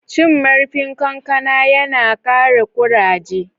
Cin marfin kankana ya na kare kuraje.